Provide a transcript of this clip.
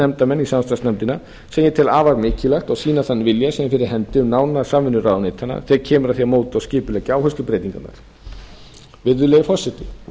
nefndarmann í samstarfsnefndina því ég tel afar mikilvægt að sýna þann vilja sem er fyrir hendi um nána samvinnu ráðuneytanna þegar kemur að því að móta og skipuleggja áherslubreytingarnar virðulegi forseti